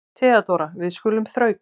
THEODÓRA: Við skulum þrauka.